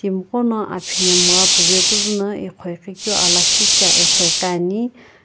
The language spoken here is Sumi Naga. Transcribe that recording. timigho no aphemgha puvae piizuno aghoaghi keu ala lakhishi eghoeghi ane.